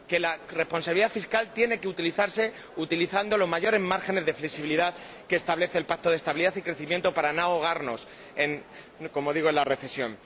Que la responsabilidad fiscal tiene que aplicarse utilizando los mayores márgenes de flexibilidad que establece el Pacto de Estabilidad y Crecimiento para no ahogarnos en la recesión.